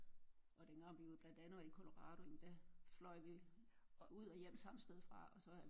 Og dengang vi var jo blandt andet i Colorado jamen der fløj vi ud og hjem samme sted fra og så